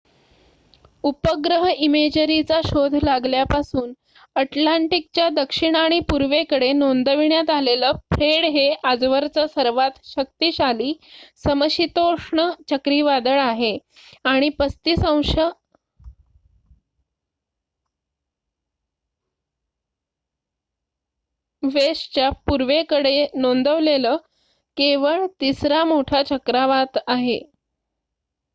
उपग्रह इमेजरीचा शोध लागल्यापासून अटलांटिकच्या दक्षिण आणि पूर्वेकडे नोंदविण्यात आलेलं फ्रेड हे आजवरचं सर्वात शक्तिशाली समशीतोष्ण चक्रावीदळ आहे आणि 35°w च्या पूर्वेकडे नोंदवलेलं केवळ तिसरा मोठा चक्रवात आहे